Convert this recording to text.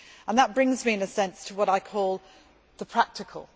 That brings me, in a sense, to what I call the practical.